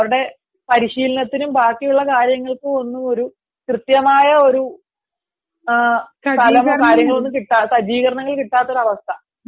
അവരുടെ പരിശീലനത്തിനും ബാക്കിയുള്ള കാര്യത്തിനും ഒരു കൃത്യമായ ഒരു സജ്ജീകരണങ്ങൾ കിട്ടാത്ത അവസ്ഥ